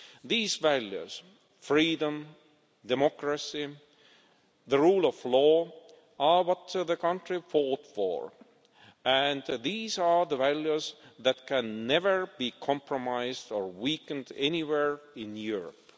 These values freedom, democracy and the rule of law are what the country fought for, and these are the values that can never be compromised or weakened anywhere in Europe.